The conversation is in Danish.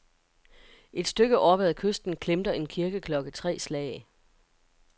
Et stykke oppe ad kysten klemter en kirkeklokke tre slag.